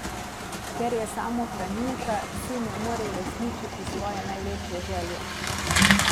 Ker je samohranilka, si ne more uresničiti svoje največje želje.